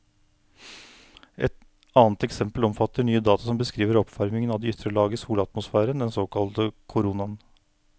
Et annet eksempel omfatter nye data som beskriver oppvarmingen av de ytre lag av solatmosfæren, den såkalte koronaen.